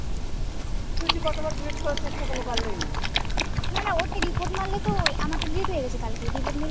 না না ওর টাই report মারলে তো, আমার টা delete হয়ে গেছে কালকেই report মেরে